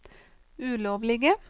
ulovlige